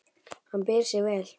Hann ber sig vel.